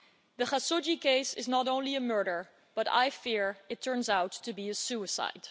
The Khashoggi case is not only a murder, but I fear it turns out to be a suicide.